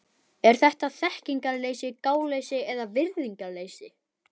Er þetta þekkingarleysi, gáleysi eða virðingarleysi?